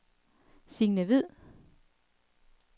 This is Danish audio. Sine Hviid